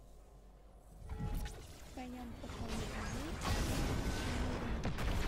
в твоем каталоге есть майк ньюэлл